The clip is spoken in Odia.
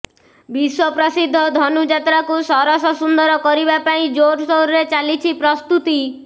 ବିଶ୍ୱପ୍ରସିଦ୍ଧ ଧନୁଯାତ୍ରାକୁ ସରସସୁନ୍ଦର କରିବା ପାଇଁ ଜୋରସୋରରେ ଚାଲଇଛି ପ୍ରସ୍ତୁତି